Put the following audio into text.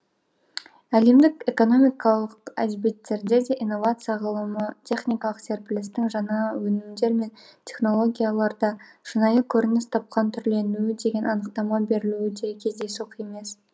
әлемдік экономикалық әдебиеттерде де инновацияға ғылымы техникалық серпілістің жаңа өнімдер мен технологияларда шынайы көрініс тапқан түрленуі деген анықтама берлуі де кездейсоқ емес